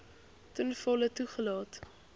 ten volle toegelaat